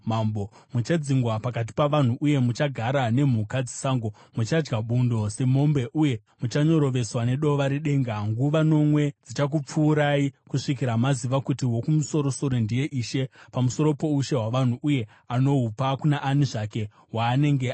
Muchadzingwa pakati pavanhu uye muchagara nemhuka dzesango; muchadya bundo semombe uye muchanyoroveswa nedova redenga. Nguva nomwe dzichakupfuurai kusvikira maziva kuti Wokumusoro-soro ndiye ishe pamusoro poushe hwavanhu uye anohupa kuna ani zvake waanenge ada.